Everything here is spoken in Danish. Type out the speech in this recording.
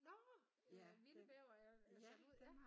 Nårh ja vilde bævere sat ud?